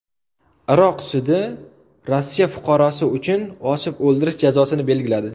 Iroq sudi Rossiya fuqarosi uchun osib o‘ldirish jazosini belgiladi.